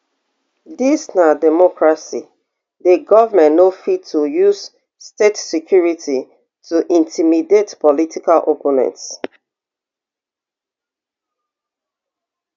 dis na democracy di goment no fit to use state security to intimidate political opponents